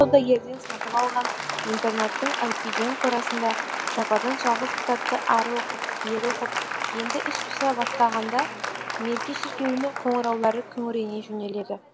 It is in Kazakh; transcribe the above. саудагерден сатып алған интернаттың әупиген қорасында жападан жалғыз кітапты ары оқып бері оқып енді іш пыса бастағанда мерке шіркеуінің қоңыраулары күңірене жөнеледі